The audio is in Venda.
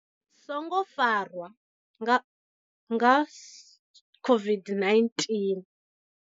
Songo farwa nga nga COVID-19.